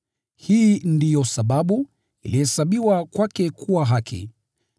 Hii ndio sababu, “ilihesabiwa kwake kuwa haki.”